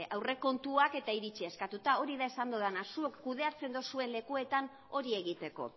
aurrekontuak eta iritzia eskatuta hori da esan dudana zuek kudeatzen duzuen lekuetan hori egiteko